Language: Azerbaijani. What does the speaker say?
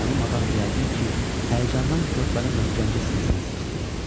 Naməlum adam yəqin ki, həyəcandan körpəni möhkəmcə sinəsinə sıxdı.